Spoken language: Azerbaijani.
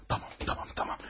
Tamam, tamam, tamam.